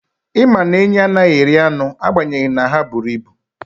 Ị ma na enyí anaghị eri anụ agbanyeghị na ha buru ibu.